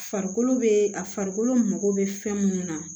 Farikolo bee a farikolo mago be fɛn munnu na